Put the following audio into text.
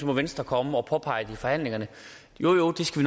må venstre komme og påpege det i forhandlingerne jo jo det skal